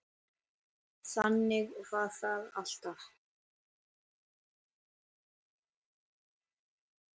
Þannig var það alltaf.